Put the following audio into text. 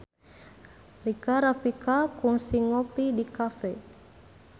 Rika Rafika kungsi ngopi di cafe